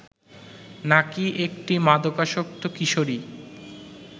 নাকি একটি মাদকাসক্ত কিশোরী